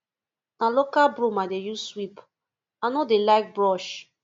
na local broom i dey use sweep i no dey like brush